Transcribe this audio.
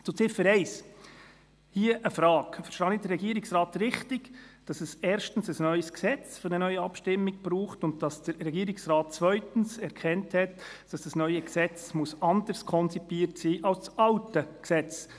Zu Ziffer 1 eine Frage: Verstehe ich den Regierungsrat richtig, dass es erstens ein neues Gesetz für eine neue Abstimmung braucht und dass der Regierungsrat zweitens erkannt hat, dass das neue Gesetz anders konzipiert sein muss als das alte Gesetz?